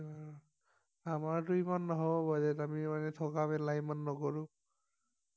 আমাৰটো ইমান নহব বাৰু ইয়াত আমি এনেকে থকা মেলা ইমান নকৰো